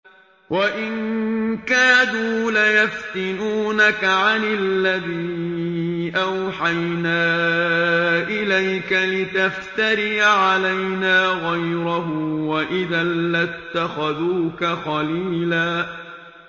وَإِن كَادُوا لَيَفْتِنُونَكَ عَنِ الَّذِي أَوْحَيْنَا إِلَيْكَ لِتَفْتَرِيَ عَلَيْنَا غَيْرَهُ ۖ وَإِذًا لَّاتَّخَذُوكَ خَلِيلًا